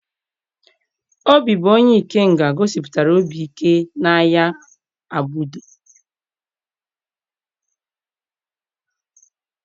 Obi bụ onye Ikenga gosipụtara obi ike n'agha Agbudo.